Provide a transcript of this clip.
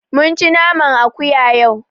Mun ci naman akuya yau.